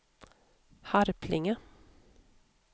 Harplinge